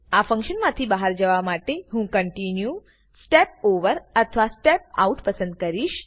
આ ફન્કશન માંથી બહાર જવા માટે હું કોન્ટિન્યુ સ્ટેપ ઓવર અથવા સ્ટેપ આઉટ પસંદ કરીશ